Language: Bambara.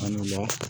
An la